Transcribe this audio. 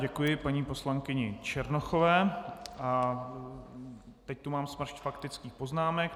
Děkuji paní poslankyni Černochové a teď tu mám smršť faktických poznámek.